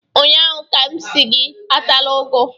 ụnyaahụ ka m si gị atala ugu!